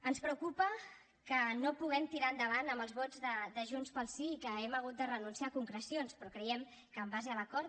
ens preocupa que no puguem tirar endavant amb els vots de junts pel sí i que hem hagut de renunciar a concrecions però creiem que en base a l’acord